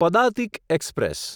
Padatik express